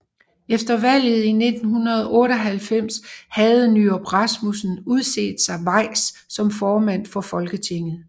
Efter valget i 1998 havde Nyrup Rasmussen udset sig Weiss som formand for Folketinget